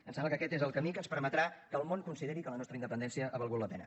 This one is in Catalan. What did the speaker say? em sembla que aquest és el camí que ens permetrà que el món consideri que la nostra independència ha valgut la pena